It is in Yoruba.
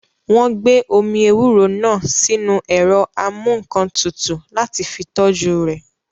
Wọ́n gbé omi ewúro náà sínu ẹ̀rọ amúǹkantutù láti fi tọ́jú rẹ̀